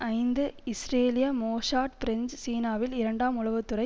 ஐந்து இஸ்ரேலிய Mossad French சீனாவில் இரண்டாம் உளவு துறை